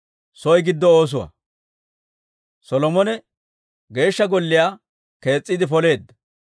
Solomone Geeshsha Golliyaa kees's'iide poleedda.